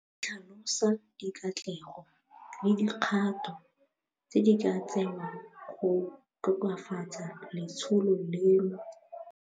E tlhalosa dikatlego le dikgato tse di ka tsewang go tokafatsa letsholo leno.